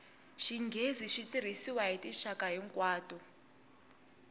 xinghezi xi tirhisiwa hi tinxaka hinkwato